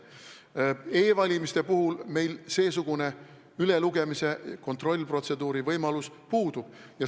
E-valimiste puhul seesugune ülelugemise kontrollprotseduuri võimalus puudub.